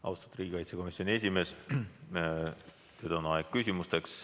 Austatud riigikaitsekomisjoni esimees, nüüd on aeg küsimusteks.